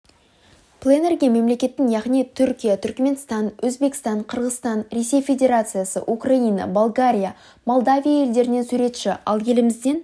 пленэрге мемлекеттің яғни түркия түркіменстан өзбекстан қырғызстан ресей федерациясы украина болгария молдавия елдерінен суретші ал елімізден